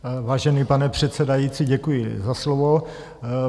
Vážený pane předsedající, děkuji za slovo.